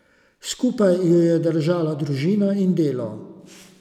Skupaj ju je držala družina in delo.